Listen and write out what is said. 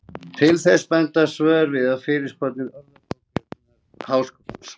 Til þess benda svör við fyrirspurnum Orðabókar Háskólans.